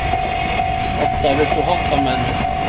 Odda, viltu hoppa með mér?